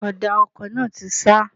Ọ̀dà ọkọ̀ náà ti ṣá.